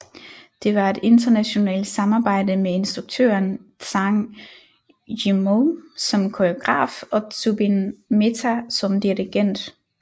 Det var et internationalt samarbejde med instruktøren Zhang Yimou som koreograf og Zubin Mehta som dirigent